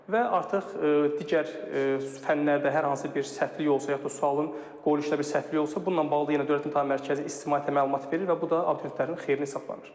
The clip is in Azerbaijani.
Və artıq digər fənlərdə hər hansı bir səhvlik olsa, yaxud da sualın qoyuluşunda bir səhvlik olsa, bununla bağlı yenə Dövlət İmtahan Mərkəzi ictimaiyyətə məlumat verir və bu da abituriyentlərin xeyrinə hesablanır.